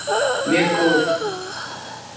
Mjög kúl.